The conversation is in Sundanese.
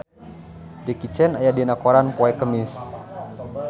Jackie Chan aya dina koran poe Kemis